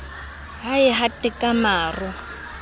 ha e hate ka maro